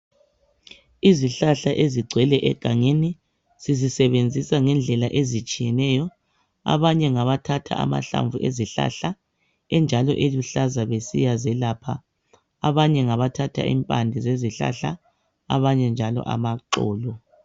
Izihlahla ezigcwele egangeni sizisebenzisa ngendlela ezitshiyeneyo abanye ngabathatha amahlamvu ezihlahla enjalo eluhlaza besiyazelapha, abanye ngabathatha impande zezihlala abanye njalo amaxolo.